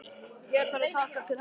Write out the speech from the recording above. Hér þarf að taka til hendi.